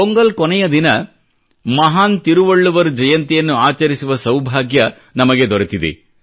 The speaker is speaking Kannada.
ಪೊಂಗಲ್ ಕೊನೆಯ ದಿನ ಮಹಾನ್ ತಿರುವಳ್ಳುವರ್ ಜಯಂತಿಯನ್ನು ಆಚರಿಸುವ ಸೌಭಾಗ್ಯ ನಮಗೆ ದೊರೆತಿದೆ